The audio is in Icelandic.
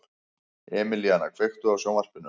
Emelíana, kveiktu á sjónvarpinu.